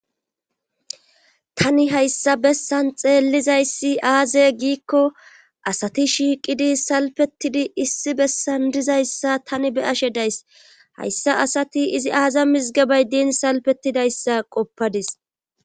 tani hayssa bessan xeellizayssi aaze giikko asati shiiqidi salpetidi issi bessan dizayssa tani be ashe days hayssa asati izi aaza mizgebay din salpetidayssa qoppadis